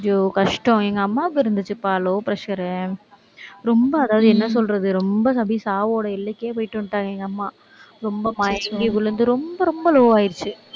ஐயோ கஷ்டம் எங்க அம்மாவுக்கு இருந்துச்சுப்பா low pressure ரொம்ப அதாவது, என்ன சொல்றது ரொம்ப சாவோட எல்லைக்கே போயிட்டு வந்துட்டாங்க, எங்க அம்மா. ரொம்ப மயங்கி விழுந்து, ரொம்ப, ரொம்ப low ஆயிடுச்சு